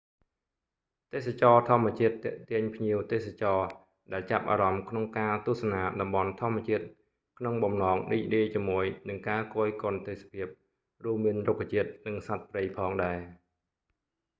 ទេសចរណ៍ធម្មជាតិទាក់ទាញភ្ញៀវទេសចរណ៍ដែលចាប់អារម្មណ៍ក្នុងការទស្សនាតំបន់ធម្មជាតិក្នុងបំណងរីករាយជាមួយនឹងការគយគន់ទេសភាព រួមមានរុក្ខជាតិនិងសត្វព្រៃផងដែរ